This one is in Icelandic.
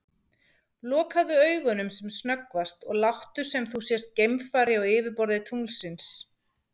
Lokaðu augunum sem snöggvast og láttu sem þú sért geimfari á yfirborði tunglsins.